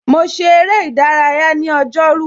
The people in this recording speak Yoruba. Mo ṣe ère ìdárayá ní ọjọ́ rú.